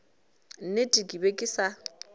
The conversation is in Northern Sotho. nnete ke be ke sa